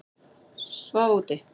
Svaf úti